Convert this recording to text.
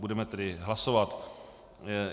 Budeme tedy hlasovat.